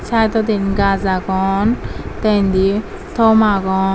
sidondi gaj agon te indi tomb agon.